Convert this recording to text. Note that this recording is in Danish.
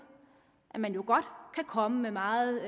man godt kan komme med meget